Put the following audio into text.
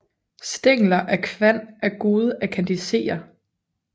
Stængler af kvan er gode at kandisere